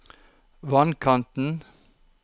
vannkanten